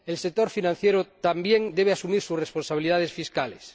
El sector financiero también debe asumir sus responsabilidades fiscales.